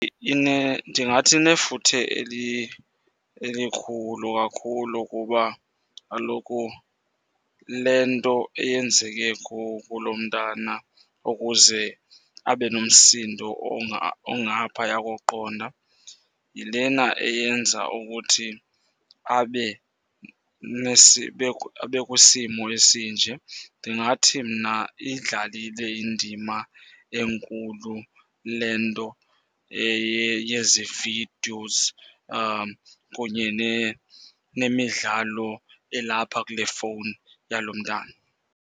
Ndingathi inefuthe elikhulu kakhulu kuba kaloku le nto eyenzeke kulo mntana ukuze abe nomsindo ongaphaya koqonda yilena eyenza ukuthi abe , abe kwisimo esinje. Ndingathi mna iyidlalile indima enkulu le nto yezi videos kunye nemidlalo elapha kule fowuni yalo mntana.